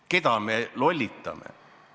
Keda me lollitame?